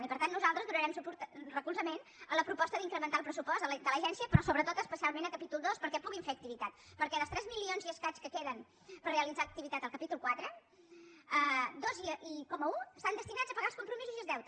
i per tant nosaltres donarem recolzament a la proposta d’incrementar el pressupost de l’agència però sobretot especialment al capítol ii perquè puguin fer activitat perquè dels tres milions i escaig que queden per realitzar activitat al capítol iv dos coma un estan destinats a pagar els compromisos i els deutes